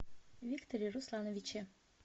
викторе руслановиче